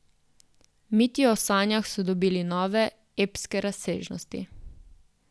Miti o sanjah so dobili nove, epske razsežnosti.